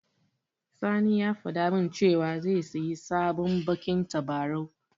Sani ya faɗa min cewa zai siyi sabon baƙin tabarau.